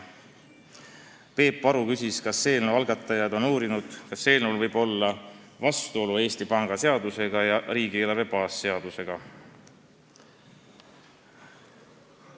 Peep Aru küsis, kas eelnõu algatajad on uurinud, kas otsus võiks olla vastuolus Eesti Panga seadusega ja riigieelarve baasseadusega.